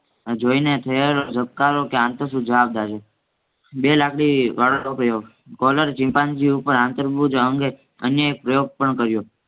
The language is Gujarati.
જોય ને થયેલ જવાબદારી બે લાકડી વાળો પ્રયોગ કોલર ચિમ્પાન્જી ઉપર આંતરભૂજ અંગે અને પ્રયોગ પણ કર્યો